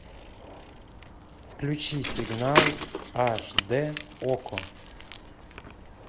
включи сигнал аш дэ окко